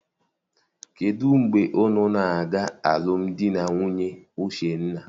Kedụ mgbe unu na-aga alụmdi na nwunye Uchenna?